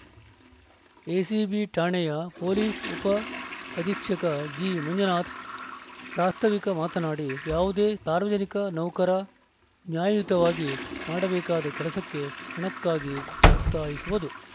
ACB ಠಾಣೆಯ police ಉಪ ಅಧೀಕ್ಷಕ ಜಿಮಂಜುನಾಥ್‌ ಪ್ರಾಸ್ತಾವಿಕ ಮಾತನಾಡಿ ಯಾವುದೇ ಸಾರ್ವಜನಿಕ ನೌಕರ ನ್ಯಾಯಯುತವಾಗಿ ಮಾಡಬೇಕಾದ ಕೆಲಸಕ್ಕೆ ಹಣಕ್ಕಾಗಿ ಒತ್ತಾಯಿಸುವುದು